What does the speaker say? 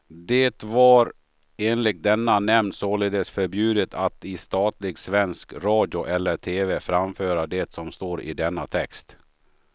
Det var enligt denna nämnd således förbjudet att i statlig svensk radio eller tv framföra det som står i denna text.